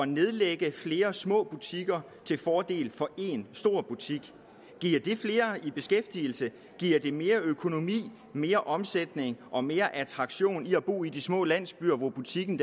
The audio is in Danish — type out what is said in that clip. nedlægge flere små butikker til fordel for en stor butik giver det flere i beskæftigelse giver det mere økonomi mere omsætning og mere attraktion i at bo i de små landsbyer hvor butikken